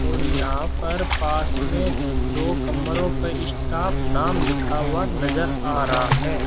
और यहां पर पास में दो कमरों पर स्टाफ नाम लिखा हुआ नजर आ रहा है।